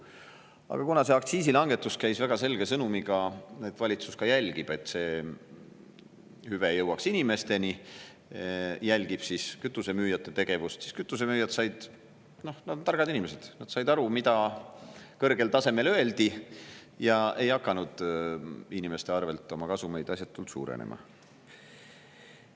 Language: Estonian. Aga kuna see aktsiisilangetus käis väga selge sõnumiga, et valitsus jälgib, et see hüve jõuaks inimesteni, jälgib kütusemüüjate tegevust, siis kütusemüüjad said aru – nad on targad inimesed –, mida kõrgel tasemel öeldi, ja ei hakanud inimeste arvel oma kasumeid asjatult suurendama.